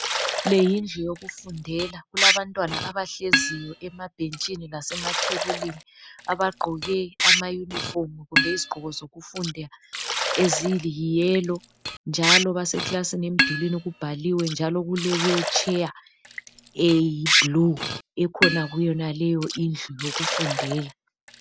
Le yindlu yokufundela kulabantwana abahleziyo emabhentshini lasemathebulini abagqoke amayunifomu kumbe izigqoko zokufunda eziliyellow njalo baseklasini emdulini kubhaliwe njalo kulewheelchair eyiblue ekhona kuyonaleyo indlu yokufundela.